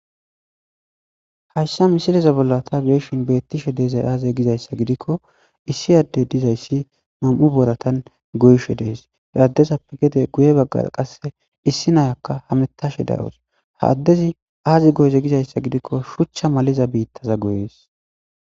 Hayssa missileza bolla ta be'ashen bettishe dizzayi azze gizayissi gikko issi addezi dizzayis Nam'u booratan goyishshe dees he addezappe gedde guye baggara qase issi nayakka hametashe dawus ha addezi azzi goyize gikko shucha malliza bittaza goyess.